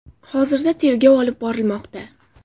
Hozirda tergov olib borilmoqda.